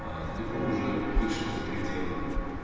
аа далеко уже вышел за пределы